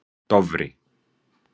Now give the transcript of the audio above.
Dofri